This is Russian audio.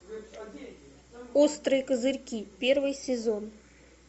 острые козырьки первый сезон